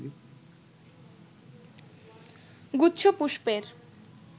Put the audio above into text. গুচ্ছ পুষ্পের